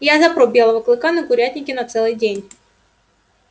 я запру белого клыка на курятнике на целый день